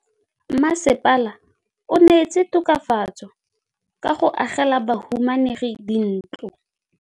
Mmasepala o neetse tokafatsô ka go agela bahumanegi dintlo.